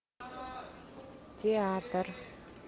театр